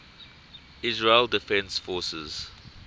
israel defense forces